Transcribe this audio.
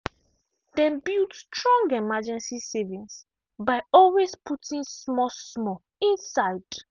dem build strong emergency savings by always putting small-small inside.